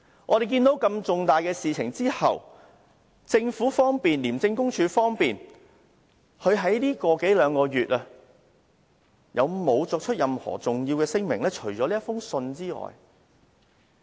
在如此重大的事情發生後，除了給我們的這封覆函外，政府和廉署在近一兩個月曾否作出重要聲明呢？